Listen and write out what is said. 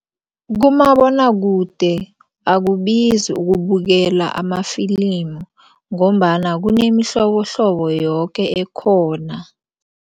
Kumabonwakude akubizi ukubukela amafilimu ngombana kunemihlobohlobo yoke ekhona.